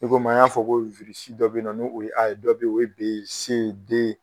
I komi an y'a fɔ ko dɔ be yen nɔ ni o ye A ye, dɔ be ye o ye B C D